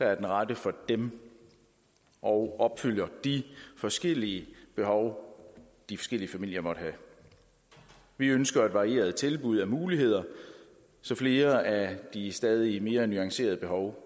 er den rette for dem og opfylder de forskellige behov de forskellige familier måtte have vi ønsker et varieret tilbud af muligheder så flere af de stadig mere nuancerede behov